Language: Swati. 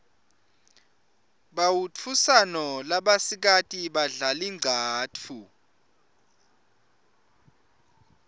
bautfusano labasikati badlal inqcatfu